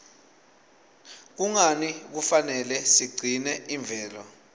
kungani kufanele sigcine imvelo